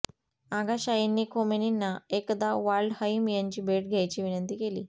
आगाशाहींनी खोमेनींना एकदा वाल्डहईम यांची भेट घ्यायची विनंती केली